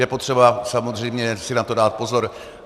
Je potřeba samozřejmě si na to dát pozor.